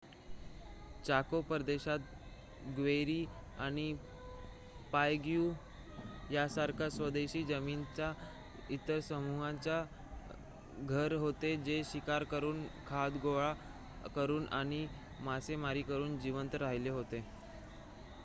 चाको प्रदेशात ग्वेक्यूरी आणि पायगुए यासारख्या स्वदेशी जमातींच्या इतर समूहांचे घर होते जे शिकार करून खाद्य गोळा करून आणि मासेमारी करुन जिवंत राहिले होते